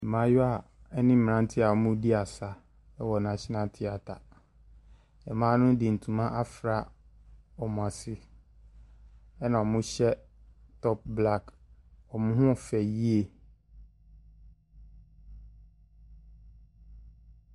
Mmayewa ne mmeranteɛ a wɔredi asa wɔ nathional theatre. Mmaa no de ntoma afura wɔn ase, ɛnna wɔhyɛ top black. Wɔn ho yɛ fɛ yie.